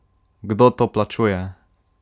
Kdo to plačuje?